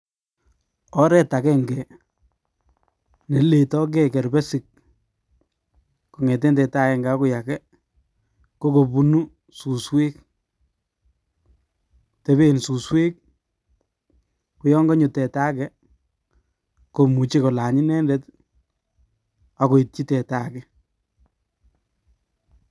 Oreet akeng'e neletokee kerbesik kong'eten teta akeng'e akoi akee kokobunu suswek, tebeen suswek koyon konyo teta akee komuche kolany inendet ak koityi teta akee.